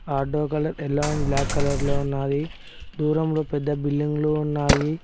Auto colour black colour లో ఉన్నది దూరంలో పెద్ద బిల్డింగ్ లు ఉన్నాయి.